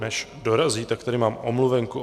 Než dorazí, tak tady mám omluvenku.